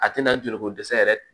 A tɛna joli ko dɛsɛ yɛrɛ